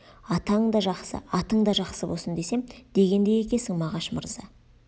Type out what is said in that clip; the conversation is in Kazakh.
атаң да жақсы атың да жақсы босын десем дегендей екесің мағаш мырза